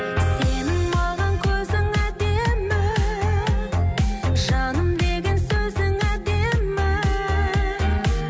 сенің маған көзің әдемі жаным деген сөзің әдемі